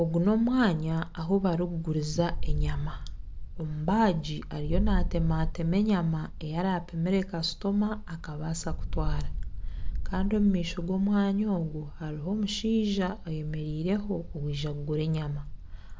Ogu n'omwanya ahu barikuguriza enyama omubaagi ariyo natematema enyama eyarapumire kasitoma akabaasa kutwara Kandi omu maisho g'omwanya ogu hariho omushaija ayemereireho owaiza kugura enyama